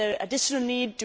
Is there additional need?